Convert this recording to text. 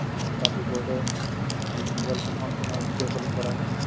আৰু তাৰ ভিতৰটে, যদি mobile phone অত তোমাৰ video calling কৰা হয় নহয়